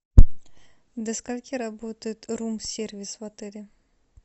до скольки работает рум сервис в отеле